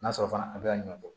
N'a sɔrɔ fana a bɛ ka ɲɔ bɔ